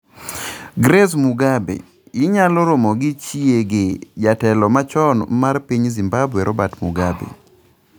Grace Mugabe: Inyalo romo gi chiege jatelo machon mar piny Zimbabwe robert Mugabe